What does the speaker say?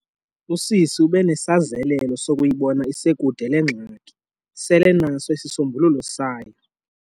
Usisi ube nesazelelo zokuyibona isekude le ngxaki, selenaso isisombululo sayo.